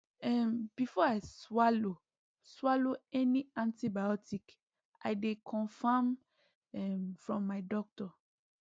um before i swallow swallow any antibiotic i dey confirm um from my doctor